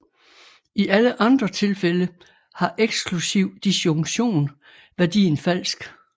I alle andre tilfælde har eksklusiv disjunktion værdien falsk